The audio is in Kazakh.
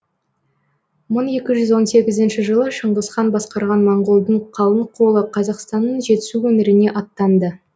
мың екі жүз он сегізінші жылы шыңғысхан басқарған моңғолдың қалың қолы қазақстанның жетісу өңіріне аттанды